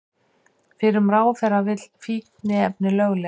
Fyrrum ráðherra vill fíkniefni lögleg